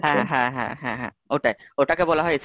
হ্যাঁ, হ্যাঁ, হ্যাঁ, ওটাই। ওটাকে বলা হয়?